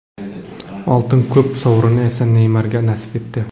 Oltin to‘p sovrini esa Neymarga nasib etdi.